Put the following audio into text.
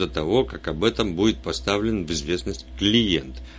до того как об этом будет поставлен в известность клиент